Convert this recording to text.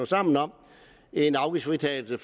sammen om en afgiftsfritagelse